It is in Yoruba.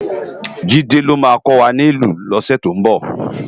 Jide ló má kòwá nilú lósè tó nbò